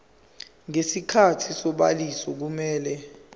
ngesikhathi sobhaliso kumele